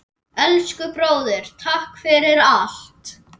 Elsku bróðir, takk fyrir allt.